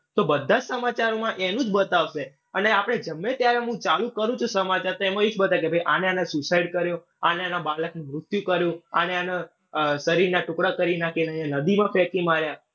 તો બધા જ સમાચારમાં એનું જ બતાશે અને આપડે ગમે ત્યારે હું ચાલુ કરું છું સમાચાર તો એમાં એજ બતાવે કે આણે-આણે suicide કર્યું, આણે એના બાળકનું મૃત્યુ કર્યું, આણે આના શરીરના ટુકડા કરી નાંખ્યા અને નદીમાં ફેંકી માર્યા.